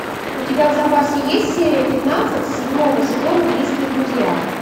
у тебя в запасе есть серия пятнадцать седьмого сезона близкие друзья